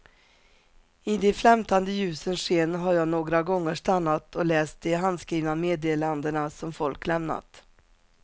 I de flämtande ljusens sken har jag några gånger stannat och läst de handskrivna meddelandena som folk lämnat.